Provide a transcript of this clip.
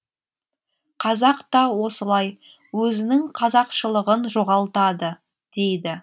қазақ та осылай өзінің қазақшылығын жоғалтады дейді